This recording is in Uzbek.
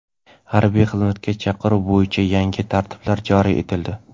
Harbiy xizmatga chaqiruv bo‘yicha yangi tartiblar joriy etildi.